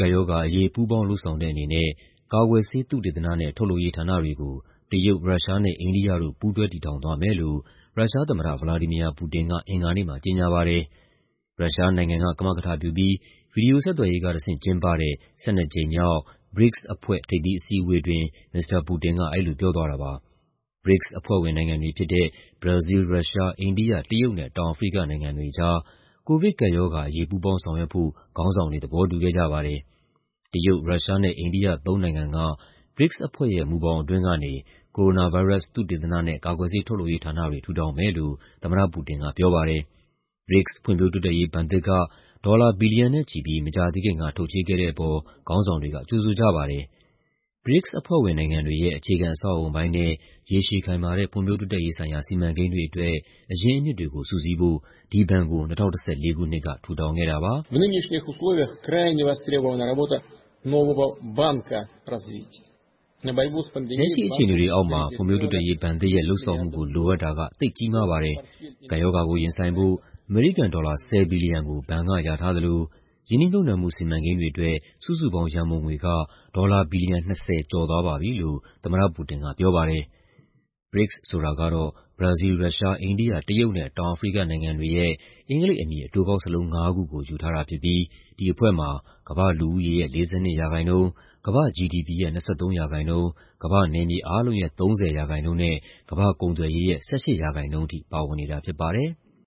ကပ်ရောဂါအရေး ပူးပေါင်းလုပ်ဆောင်တဲ့အနေနဲ့ ကာကွယ်ဆေး သုတေသနနဲ့ ထုတ်လုပ်ရေးဌာနတွေကို တရုတ်၊ ရုရှားနဲ့ အိန္ဒိယတို့ ပူးတွဲတည်ထောင်သွားမယ်လို့ ရုရှားသမ္မတ ဗလာဒီမီယာ ပူတင်က အင်္ဂါနေ့မှာ ကြေညာပါတယ်။ ရုရှားနိုင်ငံက ကမကထပြုပြီး ဗွီဒီယိုဆက်သွယ်ရေးကတဆင့် ကျင်းပတဲ့ ၁၂ ကြိမ်မြောက် BRICS အဖွဲ့ ထိပ်သီးအစည်းအဝေးအတွင်း မစ္စတာပူတင်က အဲဒီလိုပြောသွားတာပါ။ BRICS အဖွဲ့ဝင်နိုင်ငံတွေဖြစ်တဲ့ ဘရာဇီးလ်၊ ရုရှား၊ အိန္ဒိယ၊ တရုတ်နဲ့ တောင်အာဖရိကနိုင်ငံတွေကြား ကိုဗစ်ကပ်ရောဂါအရေး ပူးပေါင်းဆောင်ရွက်ဖို့ ခေါင်းဆောင်တွေ သဘောတူခဲ့ကြပါတယ်။ တရုတ်၊ ရုရှားနဲ့ အိန္ဒိယ သုံးနိုင်ငံက BRICS အဖွဲ့ မူဘောင်အတွင်းကနေ ကိုရိုနာဗိုင်းရပ်စ် သုတေသနဲ့ ကာကွယ်ဆေးထုတ်လုပ်ရေးဌာနတွေ ထူထောင်မယ်လို့ သမ္မတပူတင်ကပြောပါတယ်။ BRICS ဖွံ့ဖြိုးတိုးတက်ရေးဘဏ်သစ်က ဒေါ်လာ ဘီလီယံနဲ့ချီပြီး မကြာသေးခင်က ထုတ်ချေးခဲ့တဲ့အပေါ် ခေါင်းဆောင်တွေက ကြိုဆိုကြပါတယ်။ BRICS အဖွဲ့ဝင်နိုင်ငံတွေရဲ့ အခြေခံအဆောက်အအုံပိုင်းနဲ့ ရေရှည်ခိုင်မာတဲ့ ဖွံ့ဖြိုးတိုးတက်ရေးဆိုင်ရာ စီမံကိန်းတွေအတွက် အရင်းအမြစ်တွေကို စုစည်းဖို့ ဒီဘဏ်ကို ၂၀၁၄ ခုနှစ်က ထူထောင်ခဲ့တာပါ။ "လက်ရှိအခြေအနေတွေအောက်မှာ ဖွံံ့ဖြိုးတိုးတက်ရေးဘဏ်သစ်ရဲ့ လုပ်ဆောင်မှုကို လိုအပ်တာက သိပ်ကြီးမားပါတယ်။ ကပ်ရောဂါကိုရင်ဆိုင်ဖို့ အမေရိကန်ဒေါ်လာ ၁၀ ဘီလီယံကို ဘဏ်ကလျာထားသလို ရင်းနှီးမြှုပ်နှံမှု စီမံကိန်းတွေအတွက် စုစုပေါင်းရန်ပုံငွေက ဒေါ်လာ ဘီလီယံ ၂၀ ကျော်သွားပါပြီ" လို့ သမ္မတပူတင်ကပြောပါတယ်။ BRICS ဆိုတာကတော့ ဘရာဇီးလ်၊ ရုရှား၊ အိန္ဒိယ၊ တရုတ်နဲ့ တောင်အာဖရိကနိုင်ငံတွေရဲ့ အင်္ဂလိပ်အမည် အတိုကောက်စာလုံးငါးခုကို ယူထားတာဖြစ်ပြီး ဒီအဖွဲ့မှာ ကမ္ဘာ့လူဦးရေရဲ့ ၄၂% ၊ ကမ္ဘာ့ GDP ရဲ့ ၂၃% ၊ ကမ္ဘာ့နယ်မြေအားလုံးရဲ့ ၃၀% နဲ့ ကမ္ဘာ့ကုန်သွယ်ရေးရဲ့ ၁၈% ထိ ပါဝင်တာဖြစ်ပါတယ်။